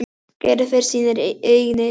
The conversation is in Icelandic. Gerður fer sínar eigin leiðir.